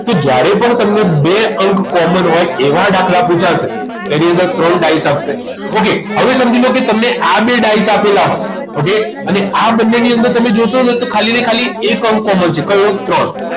તો જ્યારે પણ તમને બે અંક common હોય એવા દાખલા પૂછાશે ત્યારે એની અંદર ત્રણ ડાયસ આપશે okay હવે સમજી લો તમને આ બે ડાઈસ આપેલા હોય okay અને આ બંનેની અંદર જોશો તો તમને ખાલી ને ખાલી એક અંક common છે કયો ત્રણ